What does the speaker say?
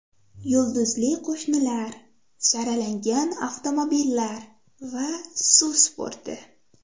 Yulduzli qo‘shnilar, saralangan avtomobillar va suv sporti.